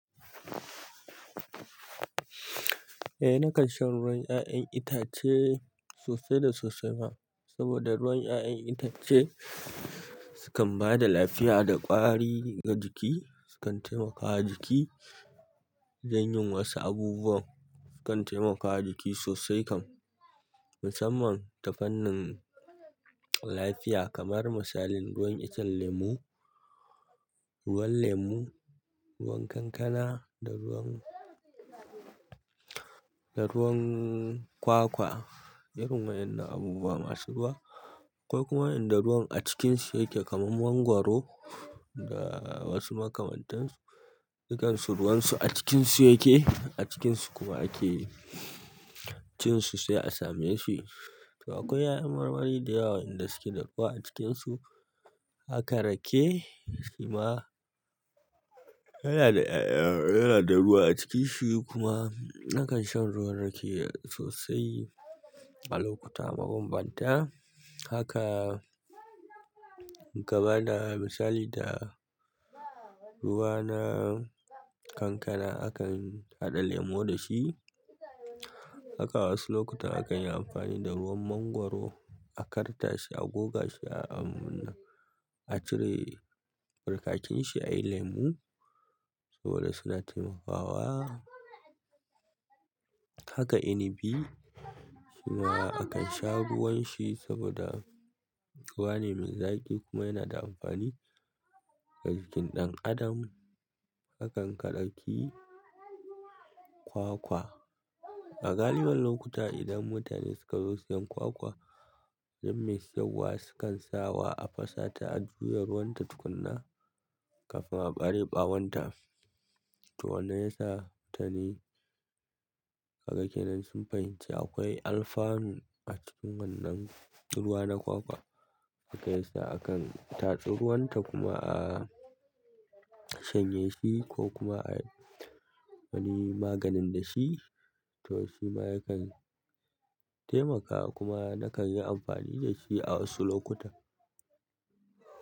Eh, nakan shan ruwan 'ya'yan itace sosai da sosai ma. Saboda ruwan 'ya'yan itace sukan ba da lafiya da ƙwari ga jiki, sukan taimakawa jiki don yin wasu abubuwa. Sukan taimakawa jiki sosai kan musamman ta fannin lafiya kamar misalin ruwan icen lemu, ruwan lemu, ruwan kankana da ruwan, da ruwan kwakwa. Sukan taimakawa jiki sosai kan musamman ta fannin lafiya kamar misalin ruwan icen lemu, ruwan lemu, ruwan kankana da ruwan, da ruwan kwakwa. To akwai 'ya'yan marmari da yawa inda suke da ruwa a cikinsu. Haka rake shi ma yana da ai'a yana da ruwa a ciki shi kuma nakan shan ruwan rake sosai a lokuta mabambanta. Haka gabana misali da ruwa na kankana, a kan haɗa lemu da shi. Haka wasu lokuta a kan yi amfani da ruwan mangwaro a kartashi, a goga shi a, a cire barkakin shi a yi lemu saboda suna taimakawa. Haka inibi shima a kan sha ruwan shi saboda ruwa ne mai zaƙi kuma yana da amfani ga jikin ɗan adam. Hakan ka ɗauki kwakwa. A galibin lokuta idan mutane suka zo siyan kwakwa, duk mai sayarwa sukan sawa a fashe ta a juya ruwan ta tukuna kafin a ɓare ɓawon ta. To wanne yasa ta ne? Haka kenan sun fahimci akwai alfanu a cikin wannan ruwa na kwakwa, haka yasa a kan tatse ruwan ta kuma a shanye shi ko kuma a yi wani maganin da shi. To shima yakan taimakawa kuma nakan yi amfani da shi a wasu lokuta.